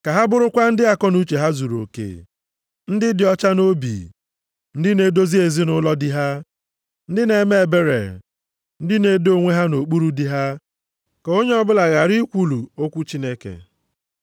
Ka ha bụrụkwa ndị akọnuche ha zuruoke, ndị dị ọcha nʼobi, ndị na-edozi ezinaụlọ di ha, ndị na-eme ebere, ndị na-edo onwe ha nʼokpuru di ha, ka onye ọbụla ghara ikwulu okwu Chineke.